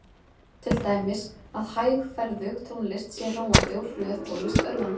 Til dæmis að hægferðug tónlist sé róandi og hröð tónlist örvandi.